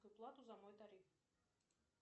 плату за мой тариф